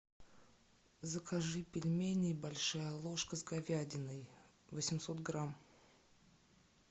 закажи пельмени большая ложка с говядиной восемьсот грамм